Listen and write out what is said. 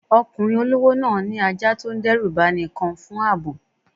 Ọkùnrin olówó náà ní ajá tó ń dẹ́rù bani kan fún ààbò.